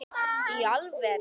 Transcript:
Í alvöru!?